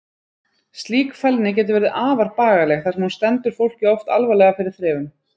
Slík fælni getur verið afar bagaleg þar sem hún stendur fólki oft alvarlega fyrir þrifum.